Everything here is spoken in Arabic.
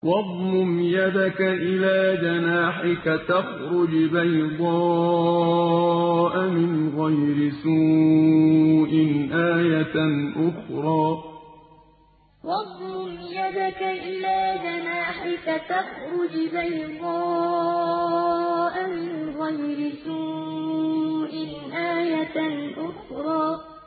وَاضْمُمْ يَدَكَ إِلَىٰ جَنَاحِكَ تَخْرُجْ بَيْضَاءَ مِنْ غَيْرِ سُوءٍ آيَةً أُخْرَىٰ وَاضْمُمْ يَدَكَ إِلَىٰ جَنَاحِكَ تَخْرُجْ بَيْضَاءَ مِنْ غَيْرِ سُوءٍ آيَةً أُخْرَىٰ